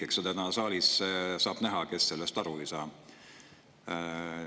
Eks täna saalis saab näha, kes sellest aru ei saa.